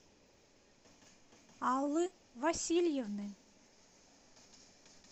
аллы васильевны